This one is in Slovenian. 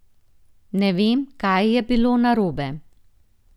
Ne vem, kaj je bilo narobe.